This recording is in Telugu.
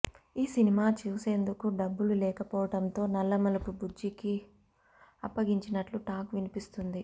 ఈ సినిమా చేసేందుకు డబ్బులు లేకపోవటంతో నల్లమలుపు బుజ్జికి అప్పగించినట్లు టాక్ వినిపిస్తుంది